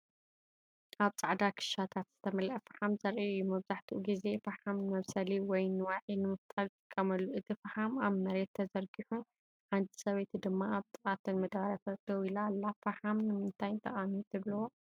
ኣብ ጻዕዳ ኪሻታት ዝተመልአ ፈሓም ዘርኢ እዩ። መብዛሕትኡ ግዜ ፈሓም ንመብሰሊ ወይ ንዋዒ ንምፍጣር ይጥቀመሉ። እቲ ፈሓም ኣብ መሬት ተዘርጊሑ፡ ሓንቲ ሰበይቲ ድማ ኣብ ጥቓ እተን መዳበርያታት ደው ኢላ ኣላ። ፈሓም ንምንታይ ጠቓሚ ትብልዎ?